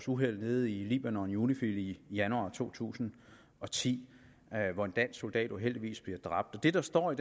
uheldet nede i libanon i unifil i januar to tusind og ti hvor en dansk soldat uheldigvis blev dræbt det der står